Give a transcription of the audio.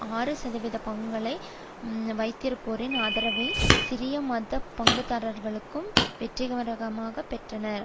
ஆறு சதவீத பங்குகளை வைத்திருப்போரின் ஆதரவை சிறிய மத பங்குதாரர்குழுக்கள் வெற்றிகரமாகப் பெற்றனர்